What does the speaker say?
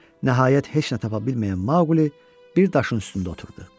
Nəhayət heç nə tapa bilməyən Mauli bir daşın üstündə oturdu.